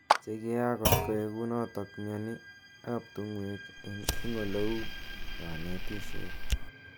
Chekiak kotkoek kunotok mioni ap tungwek ing oleu kanetishet.